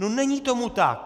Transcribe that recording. No není tomu tak.